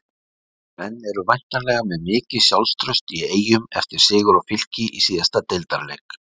Menn eru væntanlega með mikið sjálfstraust í Eyjum eftir sigur á Fylki í síðasta deildarleik?